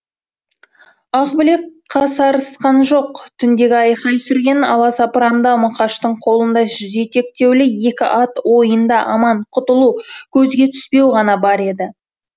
ақбілек қасарысқан жоқ түндегі айқай сүрен аласапыранда мұқаштың қолында жетектеулі екі ат ойында аман құтылу көзге түспеу ғана бар еді